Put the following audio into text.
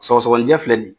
Sɔgɔsɔgɔnijɛ filɛ ni ye